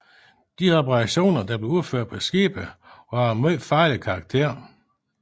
De reparationer der blev udført på skibet var af meget farlig karakter